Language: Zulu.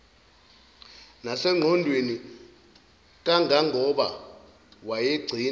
nasengqondweni kangangoba wayegcina